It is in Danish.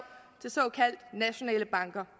til såkaldte nationale banker